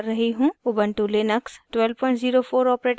* ubuntu Linux 1204 os